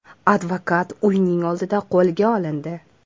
Advokat uyining oldida qo‘lga olindi.